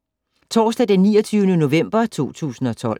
Torsdag d. 29. november 2012